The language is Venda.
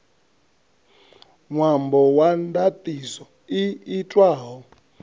ṅwambo wa ndaṱiso i itwaho